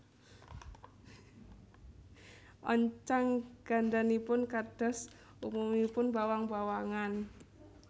Oncang gandanipun kados umumipun bawang bawangan